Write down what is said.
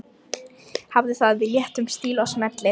Hafðu það í léttum stíl og smellið